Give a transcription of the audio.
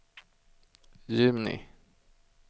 juni